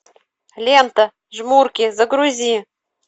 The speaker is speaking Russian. лента жмурки загрузи